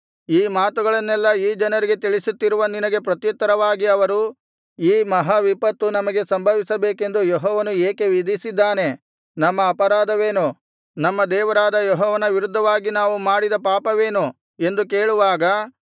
ಈ ಮಾತುಗಳನ್ನೆಲ್ಲಾ ಈ ಜನರಿಗೆ ತಿಳಿಸುತ್ತಿರುವ ನಿನಗೆ ಪ್ರತ್ಯುತ್ತರವಾಗಿ ಅವರು ಈ ಮಹಾವಿಪತ್ತು ನಮಗೆ ಸಂಭವಿಸಬೇಕೆಂದು ಯೆಹೋವನು ಏಕೆ ವಿಧಿಸಿದ್ದಾನೆ ನಮ್ಮ ಅಪರಾಧವೇನು ನಮ್ಮ ದೇವರಾದ ಯೆಹೋವನ ವಿರುದ್ಧವಾಗಿ ನಾವು ಮಾಡಿದ ಪಾಪವೇನು ಎಂದು ಕೇಳುವಾಗ